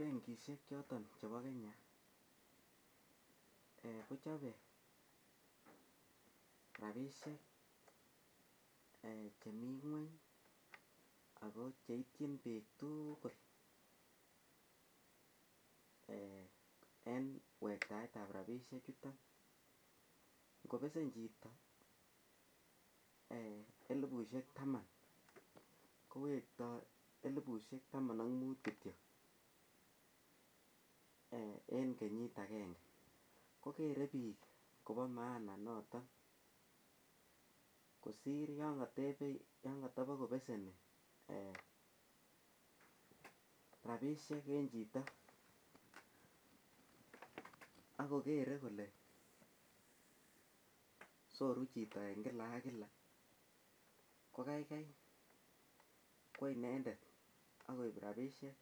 Benkishek choton chebo Kenya kochabei rabishek chemi ng'weny ako cheityin biik tugul en wektaetab rabishek chuto ngobesen chito elibusiek taman kowektoi elibusiek taman ak muut kityo en kenyit agenge kokere biik kobo maana noton kosir yo katabikobeseni rabishek en chito akokere kole soru chito eng' kila ak kila ko keikei kwo inendet akoib rabishek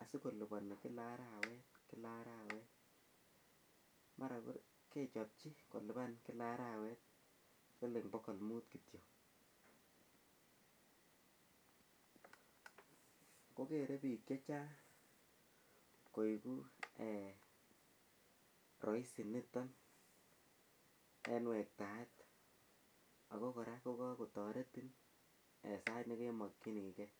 asikolipani kila arawet mara kechopchi kolipan kila arawet siling' bokol muut kityo ko kere biik chechang' koiku rahisi niton en wektaet ako kora kokatoreton en sait nekemokchenigei